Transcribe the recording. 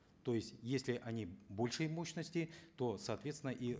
то есть если они большей мощности то сооответственно и